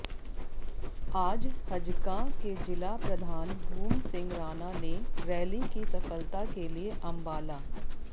आज हजकां के जिला प्रधान भूम सिंह राणा ने रैली की सफलता के लिये अम्बाला